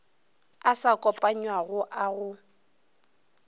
a sa kopanywago a go